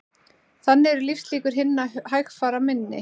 Þannig eru lífslíkur hinna hægfara minni